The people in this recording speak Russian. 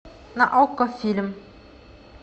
на окко фильм